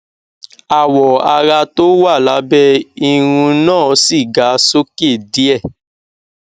awọ ara tó wà lábẹ irún náà sì ga sókè díè